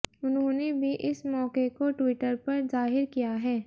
उन्होंने भी इस मौके को ट्वीटर पर जाहिर किया है